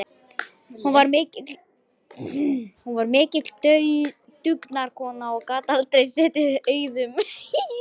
Hún var mikil dugnaðarkona og gat aldrei setið auðum höndum.